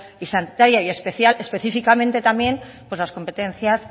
y sanitaria y específicamente también pues la competencias